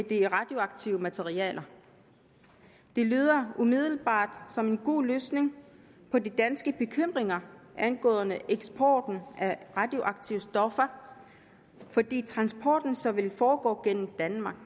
det radioaktive materiale det lyder umiddelbart som en god løsning på de danske bekymringer angående eksporten af radioaktive stoffer fordi transporten så vil foregå gennem danmark